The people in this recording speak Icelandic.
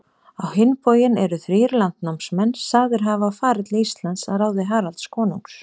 Á hinn bóginn eru þrír landnámsmenn sagðir hafa farið til Íslands að ráði Haralds konungs.